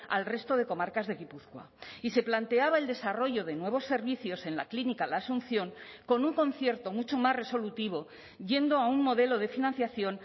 al resto de comarcas de gipuzkoa y se planteaba el desarrollo de nuevos servicios en la clínica la asunción con un concierto mucho más resolutivo yendo a un modelo de financiación